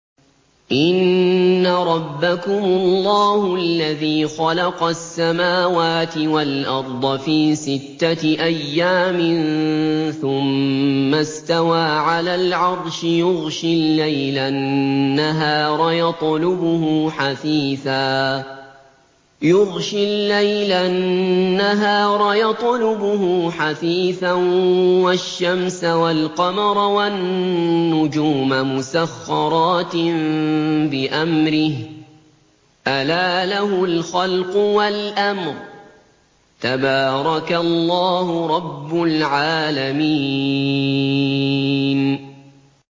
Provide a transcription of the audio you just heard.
إِنَّ رَبَّكُمُ اللَّهُ الَّذِي خَلَقَ السَّمَاوَاتِ وَالْأَرْضَ فِي سِتَّةِ أَيَّامٍ ثُمَّ اسْتَوَىٰ عَلَى الْعَرْشِ يُغْشِي اللَّيْلَ النَّهَارَ يَطْلُبُهُ حَثِيثًا وَالشَّمْسَ وَالْقَمَرَ وَالنُّجُومَ مُسَخَّرَاتٍ بِأَمْرِهِ ۗ أَلَا لَهُ الْخَلْقُ وَالْأَمْرُ ۗ تَبَارَكَ اللَّهُ رَبُّ الْعَالَمِينَ